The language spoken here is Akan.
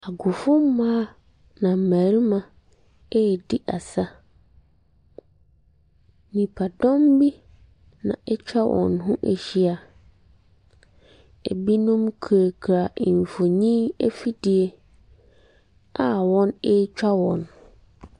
Nkurɔfoɔ mmaa na mmarima ɛredi asa. Nnipdɔm bi na atwa wɔn ho ahyia. Binom kurakura mfinin afidie a wɔn ɛretwa wɔn.